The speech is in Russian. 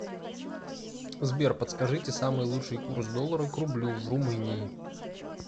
сбер подскажите самый лучший курс доллара к рублю в румынии